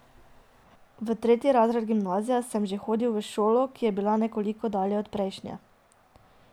V tretji razred gimnazije sem že hodil v šolo, ki je bila nekoliko dlje od prejšnje.